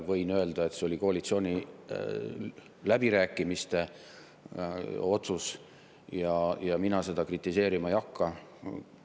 Võin öelda, et see oli koalitsiooni läbirääkimiste otsus, ja mina seda kritiseerima ei hakka.